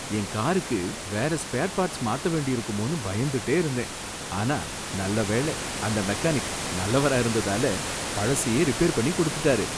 என் காருக்கு வேற spare parts மாத்த வேண்டியிருக்குமோன்னு பயந்துட்டே இருந்தேன், ஆனா நல்ல வேள அந்த மெக்கானிக் நல்லவரா இருந்ததால பழசையே ரிப்பேர் பண்ணி கொடுத்துட்டாரு